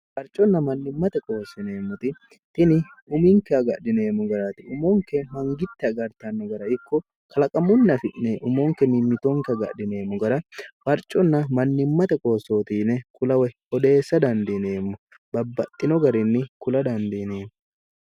harconna mannimmate qoossineemmoti tini uminke agadhineemmo garati umonke mangitti agartanno gara ikko kalaqamunni afi'ne umonke mimmitoonke agadhineemmo gara barconna mannimmate qoossootiine kulaw hodheessa dandiineemmo babbaxxino garinni kula dandiineemmo